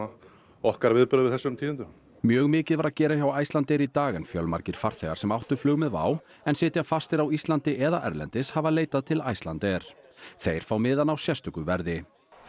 okkar viðbrögð við þessum tíðindum mjög mikið var að gera hjá Icelandair í dag en fjölmargir farþegar sem áttu flug með WOW en sitja fastir á Íslandi eða erlendis hafa leitað til Icelandair þeir fá miðana á sérstöku verði